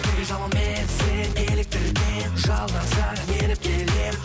неге жалынмен сен еліктірген жалған саған еріп келем